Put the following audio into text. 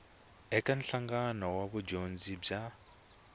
eka nhlanganelo wa vudyondzi bya